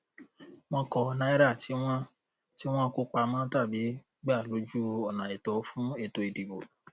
wọn kọ náírà tí wọn tí wọn kó pamọ tàbí gba lójú ònààìtọ fún ètò ìdìbò